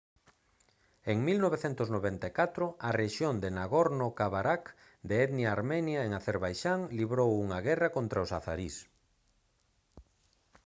en 1994 a rexión de nagorno-karabakh de etnia armenia en acerbaixán librou unha guerra contra os azarís